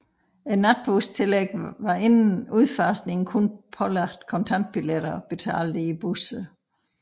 Natbustillægget var inden udfasningen kun pålagt kontantbilletter betalt i busser